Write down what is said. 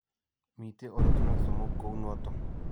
Miitei ortinwek somok, ko uu nooto: